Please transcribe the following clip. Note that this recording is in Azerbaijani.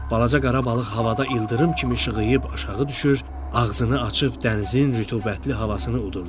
Balaca qara balıq havada ildırım kimi işığıyıb aşağı düşür, ağzını açıb dənizin rütubətli havasını udurdu.